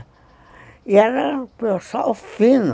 E era pessoal fino.